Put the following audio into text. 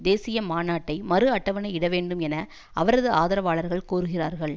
தேசிய மாநாட்டை மறு அட்டவணை இடவேண்டும் என அவரது ஆதரவாளர்கள் கோருகிறார்கள்